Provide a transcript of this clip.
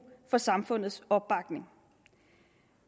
for samfundets opbakning